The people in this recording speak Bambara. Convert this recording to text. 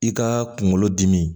I ka kunkolo dimi